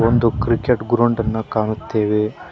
ಒಂದು cricket ground ಅನ್ನ ಕಾಣುತ್ತೇವೆ.